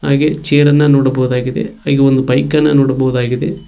ಹಾಗೆ ಚೇರ್ ಅನ್ನ ನೋಡಬಹುದಾಗಿದೆ ಹಾಗು ಒಂದು ಬೈಕ್ ಅನ್ನು ನೋಡಬಹುದಾಗಿದೆ.